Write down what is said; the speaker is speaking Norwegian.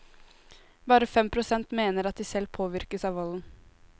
Bare fem prosent mener at de selv påvirkes av volden.